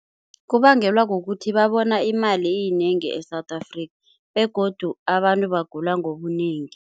Kubangelwa kukuthi babona imali iyinengi e-South Africa begodu abantu bagula ngobunengi.